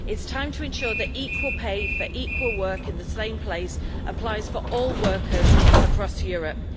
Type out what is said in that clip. It is time to ensure the equal pay for equal work in the same place applies for all workers across Europe.